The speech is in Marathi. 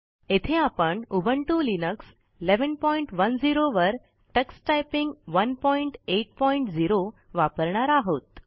येथे आपण उबुंटू लिनक्स 1110 वर टक्स टायपिंग 180 वापरणार आहोत